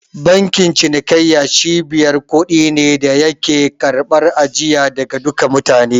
Bankin cinikayya cibiyar kuɗi ne da yake karɓar ajiya daga duka mutane.